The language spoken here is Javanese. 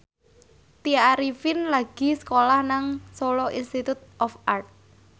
Tya Arifin lagi sekolah nang Solo Institute of Art